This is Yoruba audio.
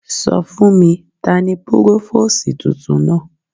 Sọ fún mi, tani Púrófósìì tuntun náà.